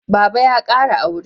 Baba ya kara aure